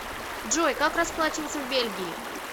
джой как расплачиваться в бельгии